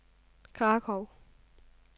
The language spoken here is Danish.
Krakow